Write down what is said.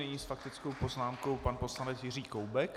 Nyní s faktickou poznámkou pan poslanec Jiří Koubek.